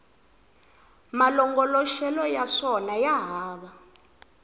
malongoloxelo ya swona ya hava